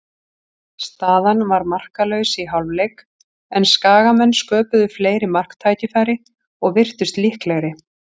Staðan var markalaus í hálfleik, en Skagamenn sköpuðu fleiri marktækifæri og virtust líklegri.